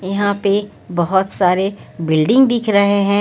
यहां पे बहोत सारे बिल्डिंग दिख रहे हैं।